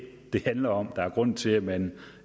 det handler om hvis er grunden til at man